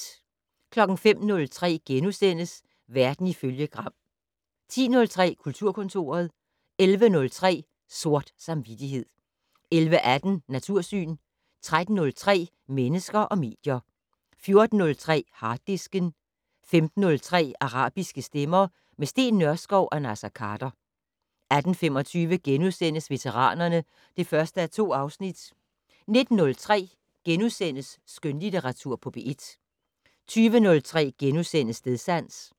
05:03: Verden ifølge Gram * 10:03: Kulturkontoret 11:03: Sort Samvittighed 11:18: Natursyn 13:03: Mennesker og medier 14:03: Harddisken 15:03: Arabiske stemmer - med Steen Nørskov og Naser Khader 18:25: Veteranerne (1:2)* 19:03: Skønlitteratur på P1 * 20:03: Stedsans *